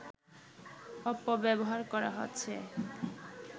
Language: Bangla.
অপব্যবহার করা হচ্ছে